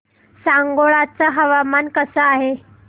सांगोळा चं हवामान कसं आहे